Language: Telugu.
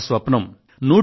అదే మన స్వప్నం